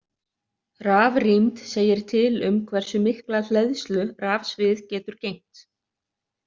Rafrýmd segir til um hversu mikla hleðslu rafsvið getur geymt.